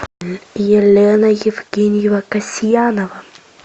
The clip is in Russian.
елена евгеньевна касьянова